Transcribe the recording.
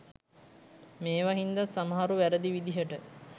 මේවා හින්දත් සමහරු වැරැදි විදිහට